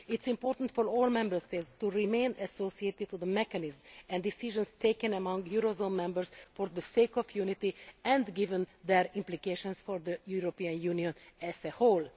It is important for all Member States to remain associated with the mechanism and decisions taken among eurozone members, for the sake of unity and given their implications for the European Union as a whole.